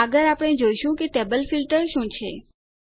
આગળ આપણે જોઈશું કે ટેબલ ફીલ્ટર શું છે